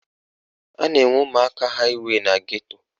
A na-enwe ụmụaka haịwey na geto